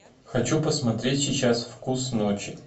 хочу посмотреть сейчас вкус ночи